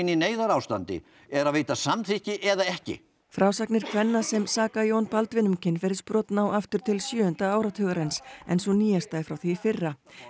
í neyðarástandi er að veita samþykki eða ekki frásagnir kvenna sem saka Jón Baldvin um kynferðisbrot ná aftur til sjöunda áratugarins en sú nýjasta frá því í fyrra